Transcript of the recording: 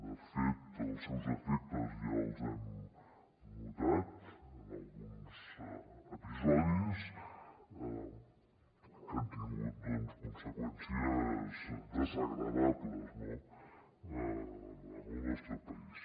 de fet els seus efectes ja els hem notat en alguns episodis que han tingut conseqüències desagradables al nostre país